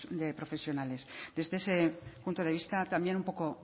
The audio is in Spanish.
de profesionales desde ese punto de vista también un poco